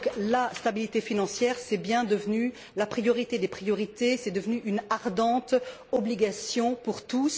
La stabilité financière est donc bien devenue la priorité des priorités et une ardente obligation pour tous.